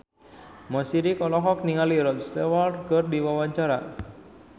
Mo Sidik olohok ningali Rod Stewart keur diwawancara